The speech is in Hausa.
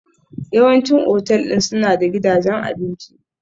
Yawancin otal ɗin suna da gidajen abinci.